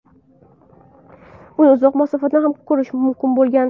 Uni uzoq masofadan ham ko‘rish mumkin bo‘lgan.